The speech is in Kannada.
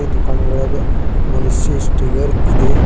ಇಲ್ಲಿ ದುಕಾನ ಒಳಗ ಮನುಷ್ಯ ಸ್ಟಿಗರ್ ಇದೆ.